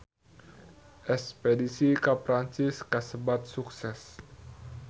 Espedisi ka Perancis kasebat sukses